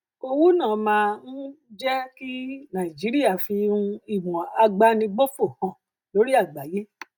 owó náà máa um jẹ um kí nàìjíríà fi um ìmọ àgbánibófò hàn lórí àgbáyé